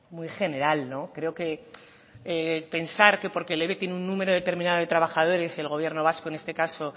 muy general creo que pensar que por que el eve tiene un número determinado de trabajadores el gobierno vasco en este caso